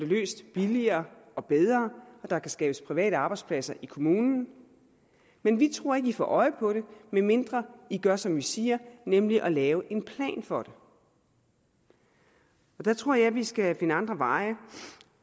løses billigere og bedre og der kan skabes private arbejdspladser i kommunen men vi tror ikke i får øje på det med mindre i gør som vi siger nemlig at lave en plan for det der tror jeg at vi skal finde andre veje